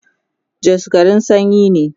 Jos garin sanyi ne